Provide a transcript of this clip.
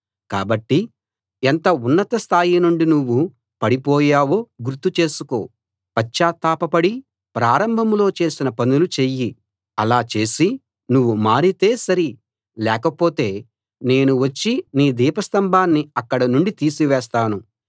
కాబట్టి ఎంత ఉన్నత స్థాయి నుండి నువ్వు పడిపోయావో గుర్తు చేసుకో పశ్చాత్తాపపడి ప్రారంభంలో చేసిన పనులు చెయ్యి అలా చేసి నువ్వు మారితే సరి లేకపోతే నేను వచ్చి నీ దీపస్తంభాన్ని అక్కడ నుండి తీసివేస్తాను